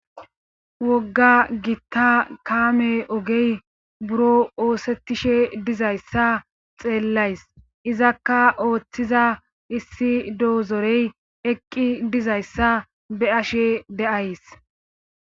wogga gitta kaame ogey buro oosettishe dizayssa xeellays izakka ooththiza issi doozorey eqqi dizayssa be ashe de7ays